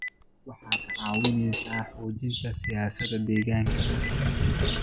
Waxaad ka caawinaysaa xoojinta siyaasadaha deegaanka.